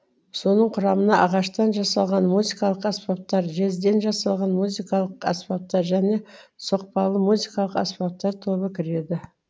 соның құрамына ағаштан жасалған музыкалық аспаптар жезден жасалған музыкалық аспаптар және соқпалы музыкалық аспаптар тобы кіреді